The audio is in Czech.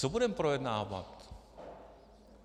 Co budeme projednávat?